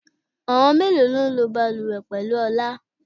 Àwọn mélòó lọ ń lọ bàlùwẹ̀ pẹ̀lú Ọlá?